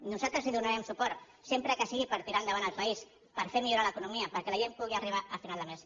nosaltres li donarem suport sempre que sigui per tirar endavant el país per fer millorar l’economia perquè la gent pugui arribar a final de mes